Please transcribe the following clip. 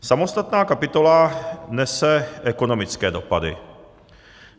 Samostatná kapitola nese ekonomické dopady.